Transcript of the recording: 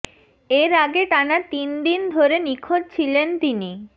এর আগে টানা তিন দিন ধরে নিখোঁজ ছিলেন তিনি